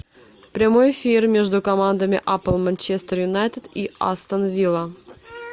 прямой эфир между командами апл манчестер юнайтед и астон вилла